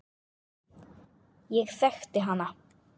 Ég þekkti hana.